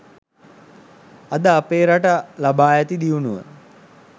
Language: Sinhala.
අද අපේ රට ලබා ඇති දියුණුව